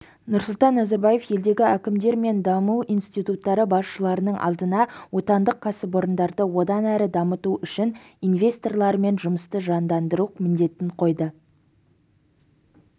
нұрсұлтан назарбаев елдегі әкімдер мен даму институттары басшыларының алдына отандық кәсіпорындарды одан әрі дамыту үшін инвесторлармен жұмысты жандандыру міндетін қойды